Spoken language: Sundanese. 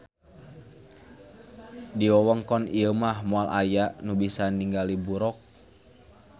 Di wewengkon ieu mah moal aya nu bisa ninggali buroq